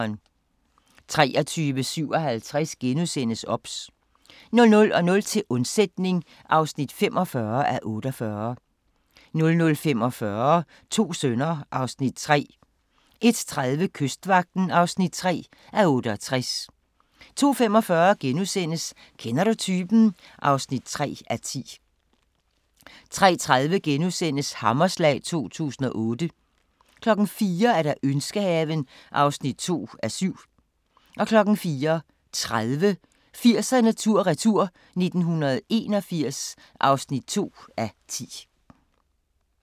23:57: OBS * 00:00: Til undsætning (45:48) 00:45: To sønner (Afs. 3) 01:30: Kystvagten (3:68) 02:45: Kender du typen? (3:10)* 03:30: Hammerslag 2008 * 04:00: Ønskehaven (2:7) 04:30: 80'erne tur-retur: 1981 (2:10)